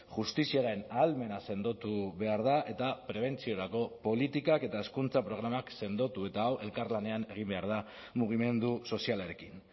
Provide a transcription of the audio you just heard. justiziaren ahalmena sendotu behar da eta prebentziorako politikak eta hezkuntza programak sendotu eta hau elkarlanean egin behar da mugimendu sozialarekin